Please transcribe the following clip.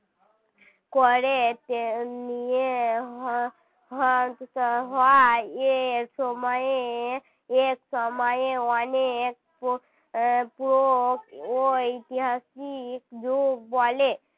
করে উম নিয়ে হয় হয় এ সময়ে এ সময়ে অনেক প্রাগৈতিহাসিক যুগ বলে